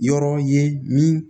Yɔrɔ ye min